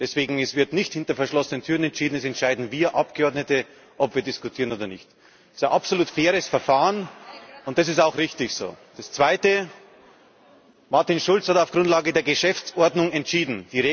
Deswegen Es wird nicht hinter verschlossenen Türen entschieden, sondern wir Abgeordnete entscheiden, ob wir diskutieren oder nicht. Das ist ein absolut faires Verfahren, und das ist auch richtig so. Das Zweite Martin Schulz hat auf Grundlage der Geschäftsordnung entschieden.